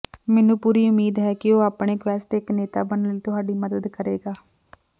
ਮੈਨੂੰ ਪੂਰੀ ਉਮੀਦ ਹੈ ਕਿ ਉਹ ਆਪਣੇ ਕੁਐਸਟ ਇੱਕ ਨੇਤਾ ਬਣਨ ਲਈ ਤੁਹਾਡੀ ਮਦਦ ਕਰੇਗਾ